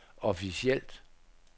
officielt